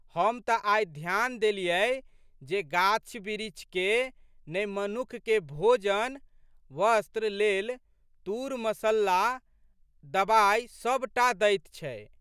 हम तऽ आइ ध्यान देलियै जे गाछबिरीछे ने मनुख के भोजन, वस्त्र लेल तूर, मस्सल्ला, दबाइ सबटा दैत छै।